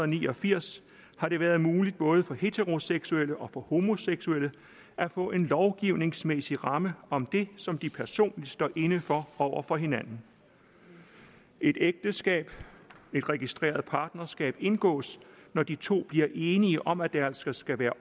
ni og firs har det været muligt både for heteroseksuelle og for homoseksuelle at få en lovgivningsmæssig ramme om det som de personligt står inde for over for hinanden et ægteskab et registreret partnerskab indgås når de to bliver enige om at det altså skal være